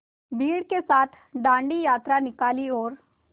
भीड़ के साथ डांडी यात्रा निकाली और